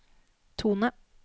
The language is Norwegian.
tone